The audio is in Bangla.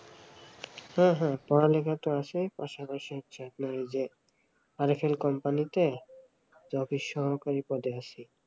হ্যাঁ হ্যাঁ পড়ালেখা তো আছে পাশাপাশি হচ্ছে আপনার ঐযে আরএফএল company তে অফিস সহকারী পদে আছে